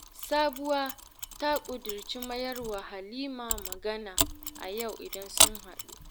Sabuwa ta ƙudirce mayar wa Halima magana a yau idan sun haɗu